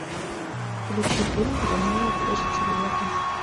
включи фильм ромео плюс джульетта